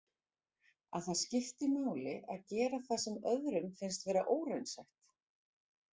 Að það skipti máli að gera það sem öðrum finnst vera óraunsætt.